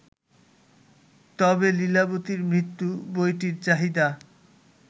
তবে ‘লীলাবতীর মৃত্যু’ বইটির চাহিদা